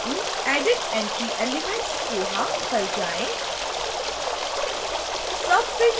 942 added entry elements koha पर जाएँ